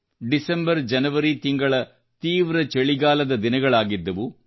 ಡಿಸೆಂಬರ್ಜನವರಿ ತಿಂಗಳು ತೀವ್ರ ಚಳಿಗಾಲದ ದಿನಗಳಾಗಿದ್ದವು